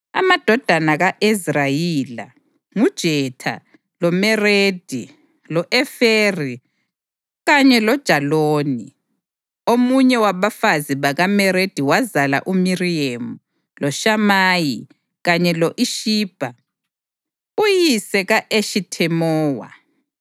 Amadodana ka-Ezra yila: nguJetha, loMeredi, lo-Eferi kanye loJaloni. Omunye wabafazi bakaMeredi wazala uMiriyemu, loShamayi kanye lo-Ishibha uyise ka-Eshithemowa.